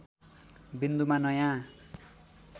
विन्दुमा नयाँ